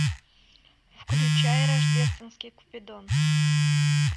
включай рождественский купидон